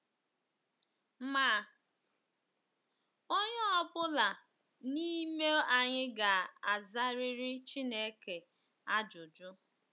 Ma onye ọ bụla n’ime anyị ga-azariri Chineke ajụjụ.